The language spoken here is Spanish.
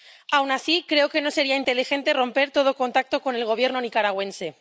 Aun así, creo que no sería inteligente romper todo contacto con el Gobierno nicaragüense.